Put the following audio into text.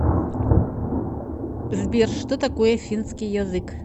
сбер что такое финский язык